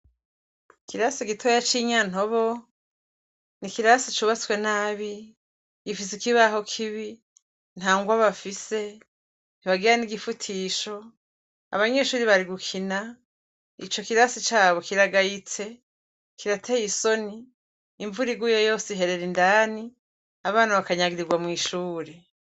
Ikirasi gitoya c'ishure ry'i Nyantobo, n'ikirasi cubatswe nabi, gifise ikibaho kibi, nta ngwa bafise, ntibagira n'igifutisho, abanyeshure bari gukina, ico kirasi cabo kiragayitse, kirateye isoni, imvura iguye yose iherera indani, abana bakanyagirirwa mw'ishure.